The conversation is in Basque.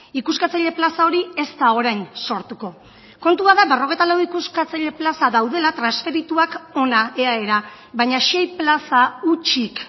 ikuskatzaile plaza hori ez da orain sortuko kontua da berrogeita lau ikuskatzaile plaza daudela transferituak hona eaera baina sei plaza hutsik